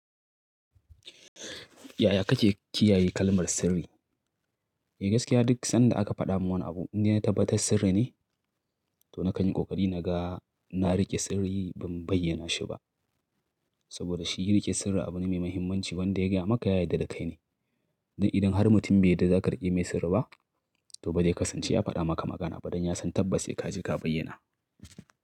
Yaya kake kiyaye kalmar sirri? Eh gaskiya duk sanda aka faɗa min wani abu inda na tabbata sirri ne toh na kan yi ƙoƙari naga na riƙe sirri ban bayyana shi ba. Saboda shi riƙe sirri abu ne mai muhimmanci wanda ya gaya maka ya yadda dakai ne. Don idan har mutum bai yadda za ka riƙe mai sirri ba toh ba zai ka san ce ya faɗa maka magana faɗan ya san tabbas sai ka ji ka bayyana.